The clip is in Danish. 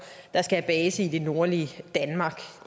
der skal have base i det nordlige danmark